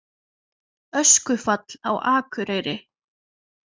Öskufall á Akureyri